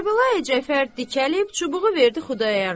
Kərbəlayi Cəfər dikəlib çubuğu verdi Xudayar bəyə.